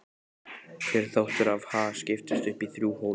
Hver þáttur af Ha? skiptist upp í þrjú hólf.